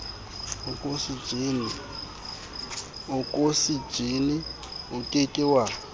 okosejene o ke ke wa